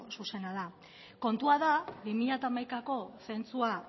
zuzena da kontua da bi mila hamaikako zentzua